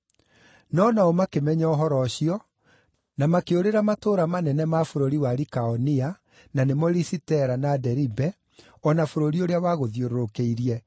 No nao makĩmenya ũhoro ũcio, na makĩũrĩra matũũra manene ma bũrũri wa Likaonia, na nĩmo Lisitera, na Deribe, o na bũrũri ũrĩa wagũthiũrũrũkĩirie,